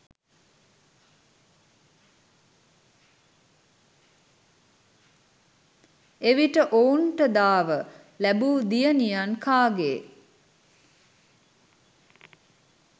එවිට ඔවුන්ට දාව ලෑබූ දියණියන් කාගේ